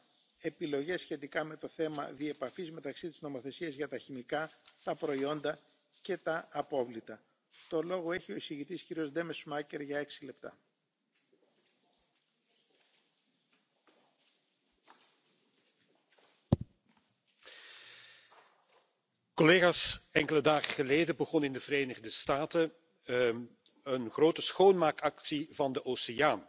blijf ik benadrukken. Het voorkomen van plastic afval blijft cruciaal. Dit kan onder andere via slimme maatregelen inzake wegwerpplastic. Op dit punt is de Commissie inmiddels met een wetgevingsvoorstel gekomen en daar zijn we in de Milieucommissie volop mee aan de slag samen met collega Frédérique Ries en anderen.